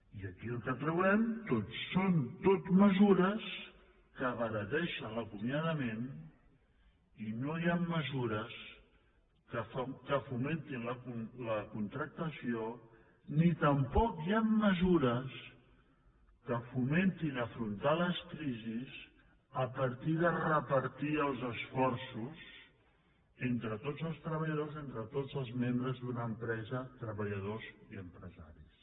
i aquí el que trobem són tot mesures que abarateixen l’acomiadament i no hi han mesures que fomentin la contractació ni tampoc hi han mesures que fomentin afrontar les crisis a partir de repartir els esforços entre tots els treballadors o entre tots els membres d’una empresa treballadors i empresaris